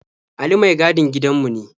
Ali mai gadin gidanmu ne.